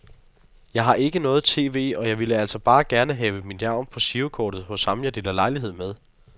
Jeg har ikke noget tv, og jeg ville altså bare gerne have mit navn på girokortet hos ham jeg deler lejlighed med.